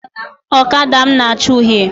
Ọkada m na acha uhie